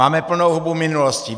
Máme plnou hubu minulosti.